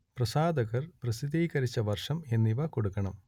പ്രസാധകർ പ്രസിദ്ധീകരിച്ച വർഷം എന്നിവ കൊടുക്കണം